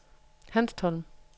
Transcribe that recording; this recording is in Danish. Hanstholm